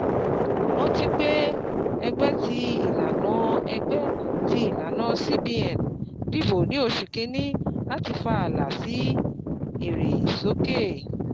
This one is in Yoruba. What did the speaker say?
rántí pé ẹgbẹ́ ti ìlànà ẹgbẹ́ ti ìlànà CBN dibò ní oṣù kínní láti fa àlà èrè sókè.